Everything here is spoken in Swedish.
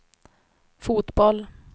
fotboll